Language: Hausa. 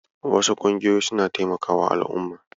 Wasu ƙungiyoyin suna taimakawa al'umma.